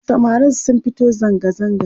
samarin sun fito zangazaga